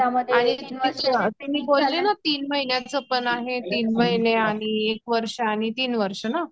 आणि तीन महिन्यांचा पण आहे तीन महीने आणि एक वर्ष आणि तीन वर्षा ना?